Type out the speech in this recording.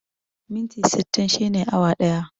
Minti sittin shine awa ɗaya